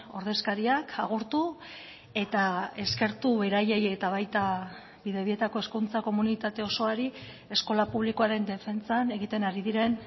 ordezkariak agurtu eta eskertu beraiei eta baita bidebietako hezkuntza komunitate osoari eskola publikoaren defentsan egiten ari diren